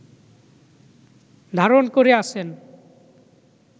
ধারণ করে আছেন